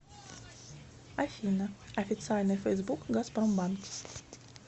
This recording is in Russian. афина официальный фейсбук газпромбанк